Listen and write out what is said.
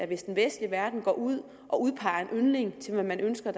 hvis den vestlige verden går ud og udpeger en yndling som man ønsker